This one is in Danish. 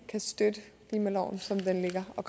kan støtte klimaloven som den ligger og